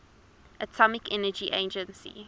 atomic energy agency